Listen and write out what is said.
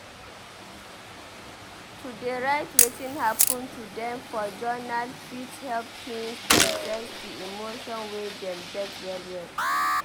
To dey write wetin hapun to dem for journal fit help teens process di emotion wey dem get well well.